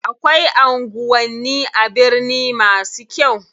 Akwai anguwanni a birni masu kyau.